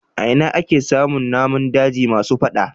A ina ake samun namun daji masu fada.